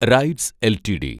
rights LTD